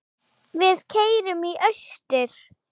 Við keyrum í austur